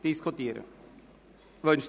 Wünschen Sie trotzdem das Wort?